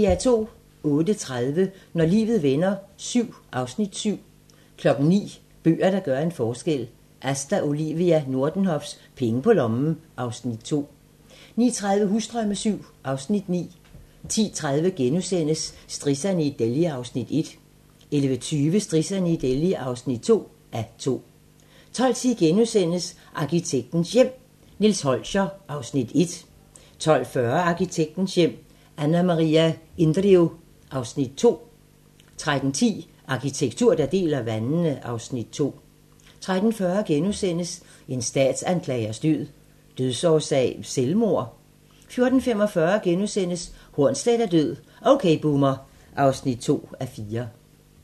08:30: Når livet vender VII (Afs. 7) 09:00: Bøger, der gør en forskel - Asta Olivia Nordenhofs "Penge på lommen" (Afs. 2) 09:30: Husdrømme VII (Afs. 9) 10:30: Strisserne i Delhi (1:2)* 11:20: Strisserne i Delhi (2:2) 12:10: Arkitektens Hjem: Nils Holscher (Afs. 1)* 12:40: Arkitektens hjem: Anna Maria Indrio (Afs. 2) 13:10: Arkitektur, der deler vandene (Afs. 2) 13:40: En statsanklagers død: Dødsårsag selvmord? * 14:45: Hornsleth er død - OK Boomer (2:4)*